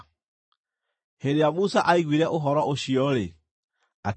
Hĩndĩ ĩrĩa Musa aiguire ũhoro ũcio-rĩ, akĩiganĩra.